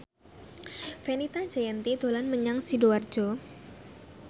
Fenita Jayanti dolan menyang Sidoarjo